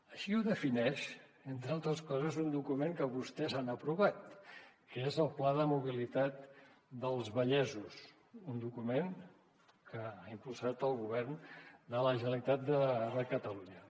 així ho defineix entre altres coses un document que vostès han aprovat que és el pla de mobilitat dels vallesos un document que ha impulsat el govern de la generalitat de catalunya